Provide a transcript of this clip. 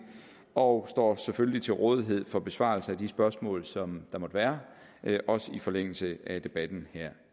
og står selvfølgelig til rådighed for besvarelse af de spørgsmål som der måtte være også i forlængelse af debatten her